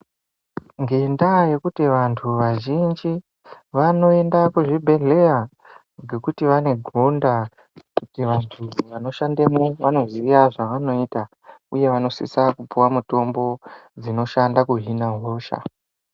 Ngendaa yekuti vantu vazhinji vanoenda kuzvibhedhleya ngekuti vane gonda kuti vantu vanoshandamo vanoziye zvavanoita uye vanositsa kupiwa mitombo dzinoshanda kudhlina hosha.